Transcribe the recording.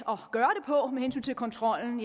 at på med hensyn til kontrollen